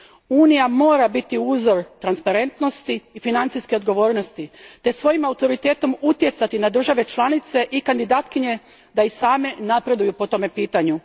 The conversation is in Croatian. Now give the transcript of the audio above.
Unija mora biti uzor transparentnosti i financijske odgovornosti te svojim autoritetom utjecati na države članice i kandidatkinje da i same napreduju po tome pitanju.